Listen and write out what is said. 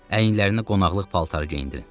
əynlərinə qonaqlıq paltarı geyindirin.